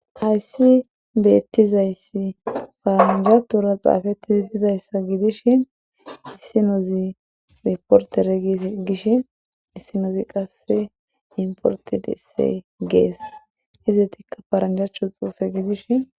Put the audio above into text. Hayssi beettizayssi faaraanjatura xaafetti ziddidayssa gidish issinozi riportere gie gish issinozi qasse importe dese gees hizetikka faaranjachcho xuufe gidishin.